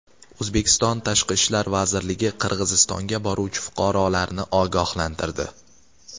O‘zbekiston Tashqi ishlar vazirligi Qirg‘izistonga boruvchi fuqarolarni ogohlantirdi .